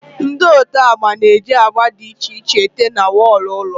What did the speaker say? Ndị ote agba na eji agba dị iche iche ete na wọlụ ụlọ